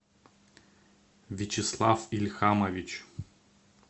вячеслав ильхамович